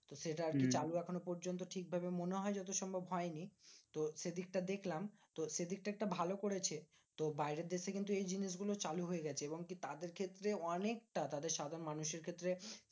সেটা আরকি চালু এখনো পর্যন্ত ঠিকভাবে মনে হয় যতসম্ভব হয়নি। তো সেদিকটা দেখলাম, তো সেদিকটা ভালো করেছে। তো বাইরের দেশে কিন্তু এই জিনিসগুলো চালু হয়ে গেছে এবং কি তাদের ক্ষেত্রে অনেকটা তাদের সাধারণ মানুষের ক্ষেত্রে